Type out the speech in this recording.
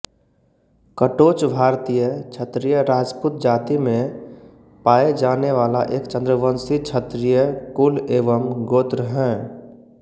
कटोचभारतीय क्षत्रिय राजपूत जाती में पाए जाने वाला एक चन्द्रवंशी क्षत्रिय कुल एवं गोत्र हैं